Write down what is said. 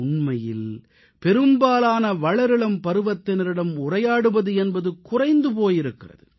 உண்மையில் பெரும்பாலான வளரிளம் பருவத்தினரிடம் உரையாடுவது என்பது குறைந்து போய் இருக்கிறது